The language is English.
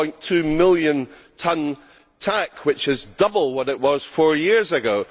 1.2 million tonne TAC, which is double what it was four years ago.